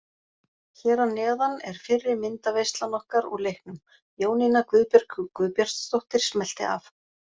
Hér að neðan er fyrri myndaveislan okkar úr leiknum, Jónína Guðbjörg Guðbjartsdóttir smellti af.